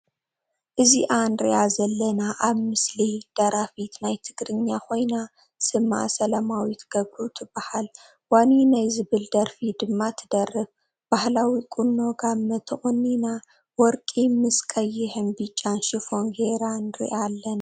እዚኣ ንሪኣ ዘለና ኣብ ምስሊ ደራፊት ናይ ትግርኛ ኮይና ስማ ሰለማዊት ግብሩ ትብሃል ዋኒነይ ዝብል ደርፊ ድማ ትደርፍ ባህላዊ ቁኖ ጋመ ትቆኒና ወርቂ ምስ ቅይሕን ቢጫን ሽፎን ጌራ ንሪኣ ኣልና ።